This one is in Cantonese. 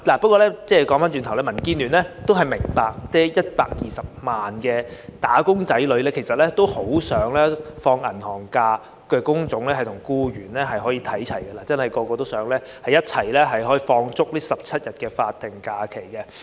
不過，話說回來，民建聯明白120萬名"打工仔女"很想與享有"銀行假"的工種或僱員看齊，人人都想享有足17天的法定假日。